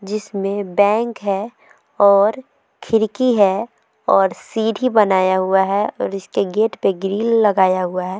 जिसमें बैंक है और खिड़की है और सीढ़ी बनाया हुआ है और इसके गेट पर ग्रील लगाया हुआ है।